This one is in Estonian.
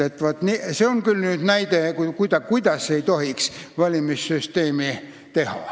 Vaat, see on küll nüüd näide, kuidas ei tohiks valimissüsteemi teha.